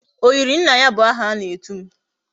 Oyiri nna ya bu aha ana etum